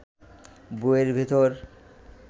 বইয়ের ভেতর